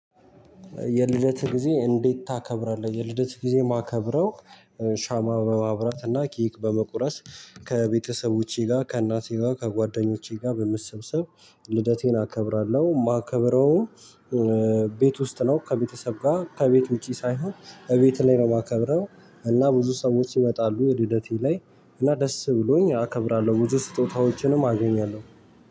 የልደትህ ጊዜ እንዴት ታከብራለህ? የልደት ጊዜ የማከብረው ሻማ በማብራት እና ኬክ በመቁረስ ከቤተሰቦቼ ጋር ከእናቴ ጋር ከጓደኞቼ ጋር በመሰብሰብ ልደቴን አከብራለሁ። የማከብረው ቤት ውስጥ ነው። ከቤተሰብ ጋር ከቤት ውጪ ሳይሆን እቤት ላይ ነው። የማከብረው እና ብዙ ሰዎች ይመጣሉ ልደቴ ላይ እና ደስ ብሎኝ አከብራለሁ። ብዙ ስጦታዎችንም አገኛለሁ